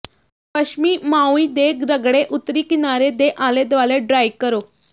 ਪੱਛਮੀ ਮਾਉਈ ਦੇ ਰਗੜੇ ਉੱਤਰੀ ਕਿਨਾਰੇ ਦੇ ਆਲੇ ਦੁਆਲੇ ਡ੍ਰਾਈ ਕਰੋ